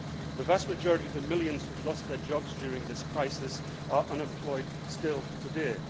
The vast majority of the millions who have lost their jobs during this crisis are unemployed still today.